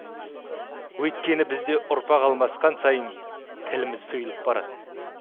өйткені бізде ұрпақ алмасқан сайын тіліміз сұйылып барады